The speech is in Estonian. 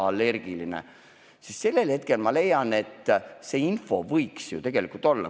Ma leian, et sellisel hetkel võiks see info ju tegelikult kättesaadav olla.